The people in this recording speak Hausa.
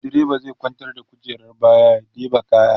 driba zai kwantar da kujerar baya ya ɗeba kaya